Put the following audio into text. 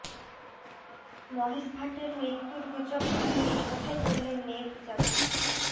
মহেশ ভাটের মৃত্যুর গুজব উড়িয়ে একথাই বললেন মেয়ে পূজা ভাট